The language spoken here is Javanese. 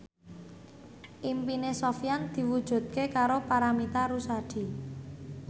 impine Sofyan diwujudke karo Paramitha Rusady